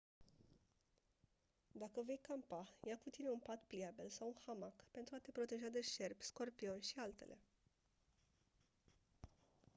dacă vei campa ia cu tine un pat pliabil sau un hamac pentru a te proteja de șerpi scorpioni și altele